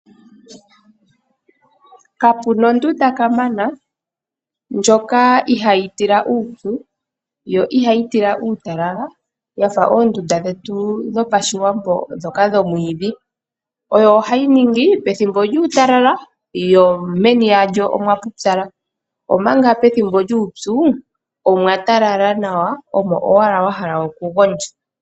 Kapuna ondunda kamana ndyoka ihayi tila uupyu yo ihayi tila uutalala yafa oondunda dhetu dhopashiwambo dhoka dhomwiidhi. Oyo ohayi ningi pethimbo lyuutalala yo meni yayo omwapupyala, omanga pethimbo lyuupyu omwatala nawa omo owala wa hala oku gondja.